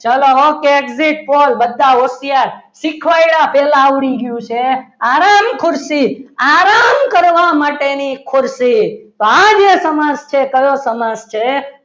ચલો exit Pol બધા હોશિયાર શીખવાડ્યા પહેલા આવડી ગયું છે આરામ ખુરશી આરામ કરવા માટેની ખુરશી તો આજે સમાસ છે તે કયો સમાસ છે?